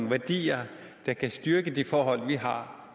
værdier der kan styrke det forhold vi har